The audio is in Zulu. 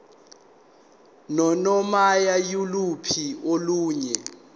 nanoma yiluphi olunye